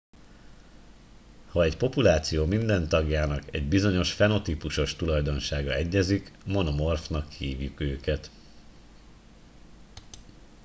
ha egy populáció minden tagjának egy bizonyos fenotípusos tulajdonsága egyezik monomorfnak hívjuk őket